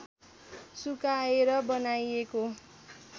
सुकाएर बनाइएको